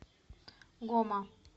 гома